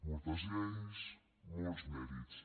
moltes lleis molts mèrits